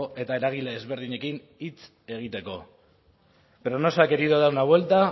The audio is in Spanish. eta eragile ezberdinekin hitz egiteko pero no se ha querido dar la vuelta